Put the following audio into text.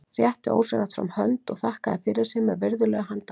Rétti ósjálfrátt fram hönd og þakkaði fyrir sig með virðulegu handabandi.